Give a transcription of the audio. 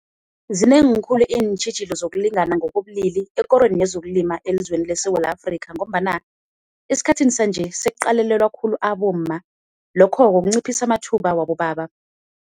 Zinengi khulu iintjhijilo zokulingana ngokobulili ekorweni yezokulima elizweni leSewula Afrika, ngombana esikhathini sanje sekuqalelelwa khulu abomma lokho-ko kunciphisa amathuba wabobaba.